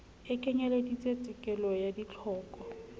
e kenyeleditse tekolo ya ditlhoko